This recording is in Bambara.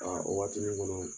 Aa o waati nin kɔnɔ